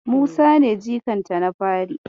Musa ne jikanta na fari.